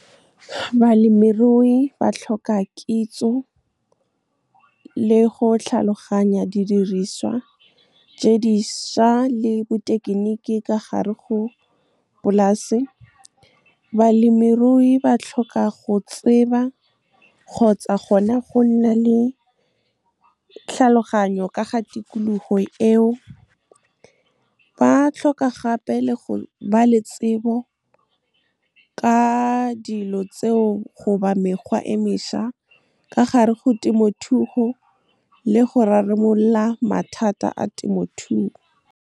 Balemirui ba tlhoka kitso le go tlhaloganya didiriswa tse dišwa le bothekeniki ka gare go polase. Balemirui ba tlhoka go tseba kgotsa gona go nna le tlhaloganyo ka ga tikologo eo. Ba tlhoka gape le go ba le tsebo ka dilo tseo goba mekgwa e mešwa ka gare go temothuo le go rarabolola mathata a temothuo. Balemirui ba tlhoka kitso le go tlhaloganya didiriswa tse dišwa le bothekeniki ka gare go polase. Balemirui ba tlhoka go tseba kgotsa gona go nna le tlhaloganyo ka ga tikologo eo. Ba tlhoka gape le go ba le tsebo ka dilo tseo goba mekgwa e mešwa ka gare go temothuo le go rarabolola mathata a temothuo.